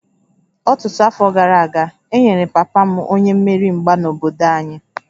Ọtụtụ afọ gara aga, e nyere papa m onye mmeri mgba n'obodo anyị